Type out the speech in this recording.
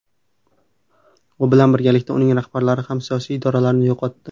U bilan birgalikda uning rahbarlari ham siyosiy irodalarini yo‘qotdi.